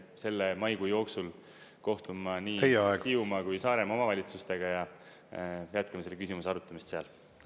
Selle maikuu jooksul kohtun ma nii Hiiumaa kui Saaremaa omavalitsustega ja jätkame selle küsimuse arutamist seal.